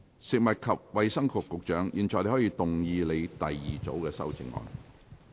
食物及衞生局局長，你現在可以動議你的第二組修正案。